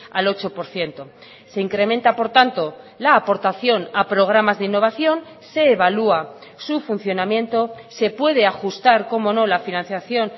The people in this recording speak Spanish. al ocho por ciento se incrementa por tanto la aportación a programas de innovación se evalúa su funcionamiento se puede ajustar como no la financiación